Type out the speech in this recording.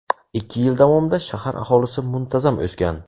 Ikki yil davomida shahar aholisi muntazam o‘sgan.